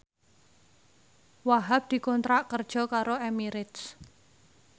Wahhab dikontrak kerja karo Emirates